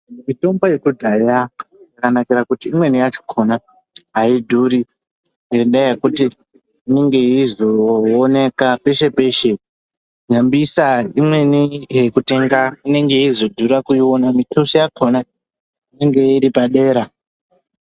Mitombo yekudhaya yakanakira kuti imweni yakona ayidhuri ngendaya yekuti inenge yeizoonekwa peshe peshe. Nyambisa imweni yekutenga yeizodhura kuitenga. Mikosi yakona inenge iri padera.